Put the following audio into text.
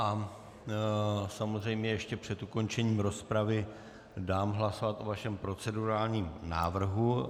A samozřejmě ještě před ukončením rozpravy dám hlasovat o vašem procedurálním návrhu.